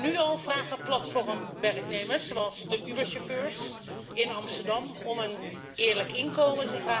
Nu al vragen platformwerknemers, zoals de Uberchauffeurs in Amsterdam, om een eerlijk inkomen.